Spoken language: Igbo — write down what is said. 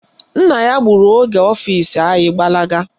Nna ya buru oge ọfisi anyị gbalaga.